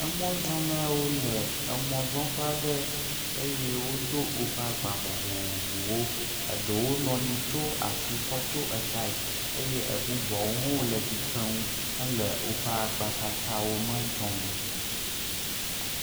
Emɔzɔlawo le emɔzɔƒe aɖe eye wodo woƒe agba vovovowo. Eɖewo nɔ anyi ko ashi ko tsyɔ etaɛ eye ebubuawo hɔ̃ wole tsitrenu hele woƒe agbatsatsawo me dzɔm.